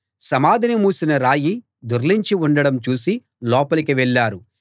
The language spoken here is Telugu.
సమాధిని మూసిన రాయి దొర్లించి ఉండడం చూసి లోపలికి వెళ్ళారు